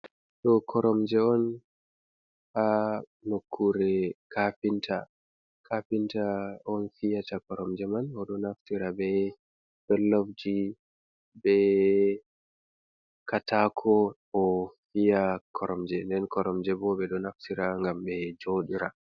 Ɗo koromje on ha nokkure kafinta kafinta on fiyata koromje man o ɗo naftira be dollofji, be katako, o fiya koromje den koromje bo ɓe ɗo naftira gam be joɗira.